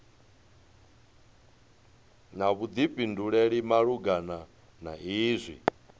na vhuḓifhinduleli malugana na izwi